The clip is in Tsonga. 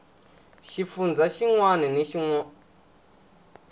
xifundzha xin wana na xin